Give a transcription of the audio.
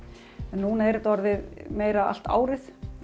en núna er þetta orðið meira allt árið